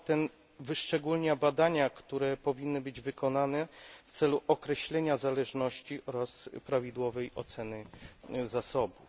Sprawozdanie to wyszczególnia badania, które powinny być wykonane w celu określenia zależności oraz prawidłowej oceny zasobów.